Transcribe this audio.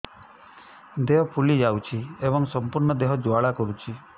ଦେହ ଫୁଲି ଯାଉଛି ଏବଂ ସମ୍ପୂର୍ଣ୍ଣ ଦେହ ଜ୍ୱାଳା କରୁଛି